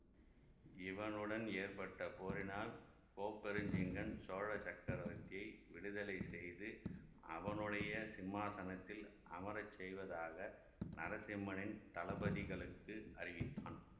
இவனுடன் ஏற்பட்ட போரினால் கோப்பெருஞ்சிங்கன் சோழ சக்கரவர்த்தி விடுதலை செய்து அவனுடைய சிம்மாதனத்தில் அமர செய்வதாக நரசிம்மனின் தளபதிகளுக்கு அறிவித்தான்